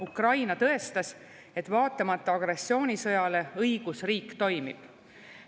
Ukraina tõestas, et vaatamata agressioonisõjale õigusriik toimib.